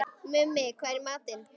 Mummi, hvað er í matinn?